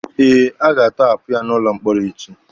Eh, a ga-atọhapụ ya n'ụlọ mkpọrọ echi.